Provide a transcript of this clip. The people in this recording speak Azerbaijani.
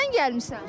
Kimlə gəlmisən?